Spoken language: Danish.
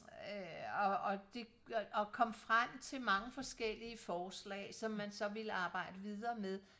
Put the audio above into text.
øh og og de kom frem til mange forskellige forslag som man så ville arbejde videre med